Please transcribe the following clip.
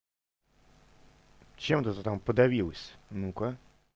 чем это ты там подавилась ну-ка